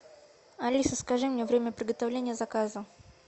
алиса скажи мне время приготовления заказа